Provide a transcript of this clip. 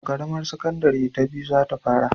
A ƙaramar sakandare ta biyu za ta fara